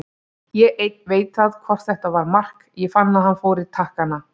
Ég einn veit það hvort þetta var mark, ég fann að hann fór í takkana.